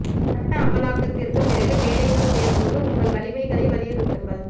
சட்ட அமலாக்கத்திற்குப் பிறகு வேலைகள் தேடும் போது உங்கள் வலிமைகளை வலியுறுத்துங்கள்